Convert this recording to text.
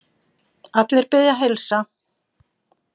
Allir biðja að heilsa.